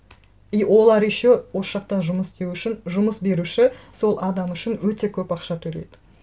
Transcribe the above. и олар еще осы жақта жұмыс істеу үшін жұмыс беруші сол адам үшін өте көп ақша төлейді